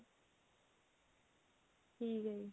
ਠੀਕ ਹੈ ਜੀ